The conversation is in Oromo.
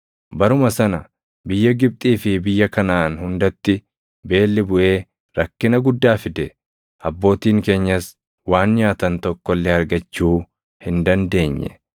“Baruma sana biyya Gibxii fi biyya Kanaʼaan hundatti beelli buʼee rakkina guddaa fide; abbootiin keenyas waan nyaatan tokko illee argachuu hin dandeenye.